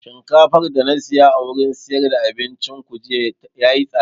Shinkafar da na siya a wurin siyar da abincin ku jiya yayi tsada